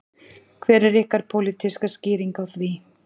Hver er ykkar pólitíska skýring á því?